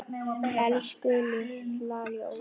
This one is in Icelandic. Elsku litla ljós.